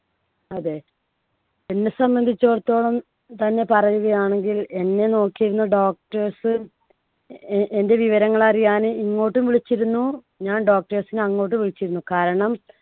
അതെ എന്നെ സംബന്ധിച്ചോടത്തോളം തന്നെ പറയുകയാണെങ്കിൽ എന്നെ നോക്കിയിരുന്ന doctors ഉം എ~ എന്‍ടെ വിവരങ്ങൾ അറിയാന് ഇങ്ങോട്ടും വിളിച്ചിരുന്നു, ഞാൻ doctors നെ അങ്ങോട്ടും വിളിച്ചിരുന്നു. കാരണം